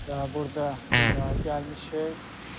Və burda dünyaya gəlmişik.